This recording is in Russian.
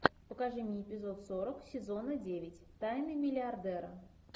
покажи мне эпизод сорок сезона девять тайны миллиардера